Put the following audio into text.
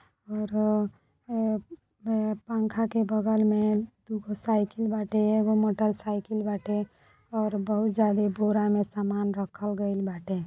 और अ अ अ पंखा के बगल मे दुगो साइकल बाटे एगो मोटर साइकल बाटे ओर बहुत ज्यादा बोड़ा में सामान रखल गईल बाटे।